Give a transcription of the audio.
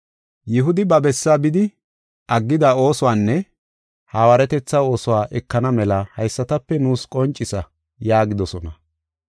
Yihudi ba bessaa bidi, aggida oosuwanne hawaaretetha oosuwa ekana mela haysatape nuus qoncisa” yaagidosona.